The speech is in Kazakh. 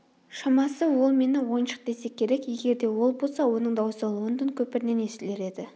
шамасы ол мені ойыншық десе керек егер де ол болса оның дауысы лондон көпірінен естілер еді